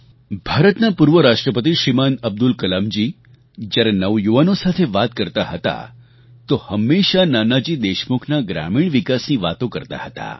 ભારતના પૂર્વ રાષ્ટ્રપતિ શ્રીમાન અબ્દુલ કલામજી જ્યારે નવયુવાનો સાથે વાત કરતા હતા તો હંમેશાં નાનાજી દેશમુખના ગ્રામીણ વિકાસની વાતો કરતા હતા